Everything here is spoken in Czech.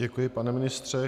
Děkuji, pane ministře.